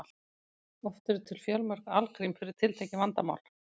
oft eru til fjölmörg algrím fyrir tiltekið vandamál